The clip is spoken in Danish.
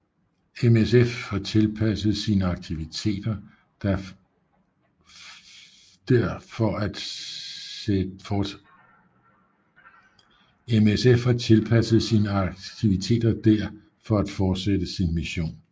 MSF har tilpasset sine akitiviteter der for at fortsætte sin mission